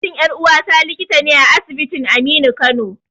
Mijin ƴar'uwata likita ne a asibitin Aminu Kano.